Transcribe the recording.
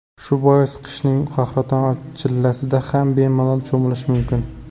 Shu bois qishning qahraton chillasida ham bemalol cho‘milish mumkin.